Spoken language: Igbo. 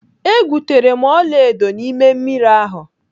E gwutere m ọlaedo n'ime mmiri ahụ.